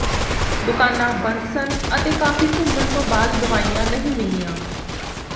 ਦੁਕਾਨਾਂ ਬੰਦ ਸਨ ਅਤੇ ਕਾਫੀ ਘੁੰਮਣ ਤੋਂ ਬਾਅਦ ਦਵਾਈਆਂ ਨਹੀਂ ਮਿਲੀਆਂ